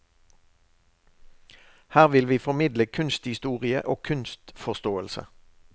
Her vil vi formidle kunsthistorie og kunstforståelse.